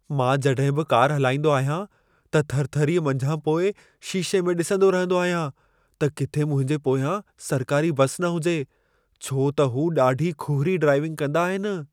मां जॾहिं बि कार हलाईंदो आहियां, त थरथरीअ मंझां पोएं शीशे में ॾिसंदो रहंदो आहियां, त किथे मुंहिंजे पोयां सरकारी बस न हुजे। छो त हू ॾाढी खुहरी ड्राइविंग कंदा आहिनि।